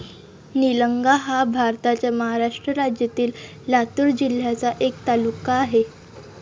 निलंगा हा भारताच्या महाराष्ट्र राज्यातील लातूर जिल्ह्याचा एक तालुका आहे.